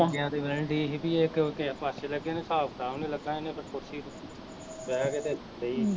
ਗਇਆ ਤੇ ਕਹਿਣ ਡਈ ਸੀ ਵੀ ਏਹ ਕਿਸੇ ਪਾਸੇ ਨੇ ਲੱਗੇ ਨੇ, ਹਿਸਾਬ ਕਿਤਾਬ ਨੂੰ ਲਗਾ ਤੇ ਇਹਨੇ ਫਿਰ ਕੁਰਸੀ ਤੇ ਬਹਿ ਕੇ ਤੇ ਡਈ ਸੀ